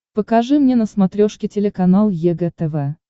покажи мне на смотрешке телеканал егэ тв